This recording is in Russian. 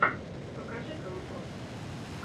покажи компот